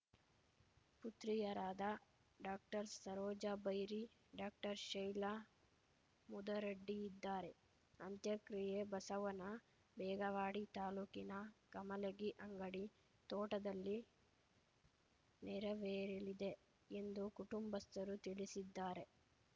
ಪುತ್ರಿಯರಾದ doctor Saroja Bairi doctor Shaila Mudaraddi ಇದ್ದಾರೆ ಅಂತ್ಯಕ್ರಿಯೆ ಬಸವನ ಬೇಗವಾಡಿ ತಾಲೂಕಿನ ಕಮಲಗಿಅಂಗಡಿ ತೋಟದಲ್ಲಿ ನೆರವೇರಲಿದೆ ಎಂದು ಕುಟುಂಬಸ್ಥರು ತಿಳಿಸಿದ್ದಾರೆ